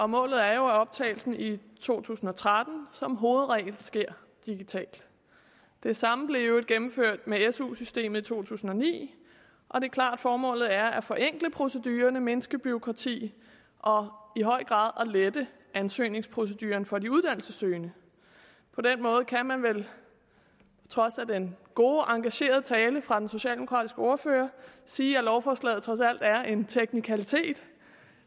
målet er jo at optagelsen i to tusind og tretten som hovedregel sker digitalt det samme blev i øvrigt gennemført med su systemet i to tusind og ni og det er klart at formålet er at forenkle procedurerne mindske bureaukratiet og i høj grad at lette ansøgningsproceduren for de uddannelsessøgende på den måde kan man vel trods den gode engagerede tale fra den socialdemokratiske ordfører sige at lovforslaget trods alt er en teknikalitet